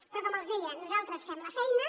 però com els deia nosaltres fem la feina